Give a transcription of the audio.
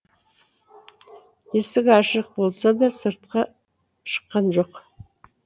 есік ашық болса да сыртқа шыққан жоқ